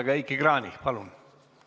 Aga Heiki Kranich, palun!